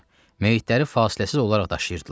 Meyitləri fasiləsiz olaraq daşıyırdılar.